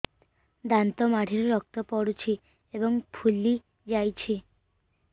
ଦାନ୍ତ ମାଢ଼ିରୁ ରକ୍ତ ପଡୁଛୁ ଏବଂ ଫୁଲି ଯାଇଛି